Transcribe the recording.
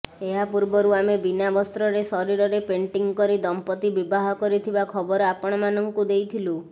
ଏହା ପୂର୍ବରୁ ଆମେ ବିନା ବସ୍ତ୍ରରେ ଶରୀରରେ ପେଣ୍ଟିଂ କରି ଦମ୍ପତି ବିବାହ କରିଥିବା ଖବର ଅପଣମାନଙ୍କୁ ଦେଇଥିଲୁ